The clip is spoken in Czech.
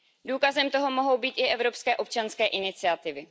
Důkazem toho mohou být i evropské občanské iniciativy.